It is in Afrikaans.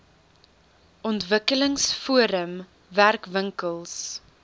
ontwikkelings forum werkwinkels